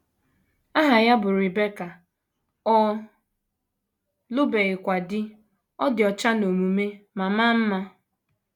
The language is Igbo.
Aha ya bụ Rebeka, ọ lụbeghịkwa di, ọ dị ọcha n’omume ma maa mma.